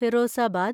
Firozabad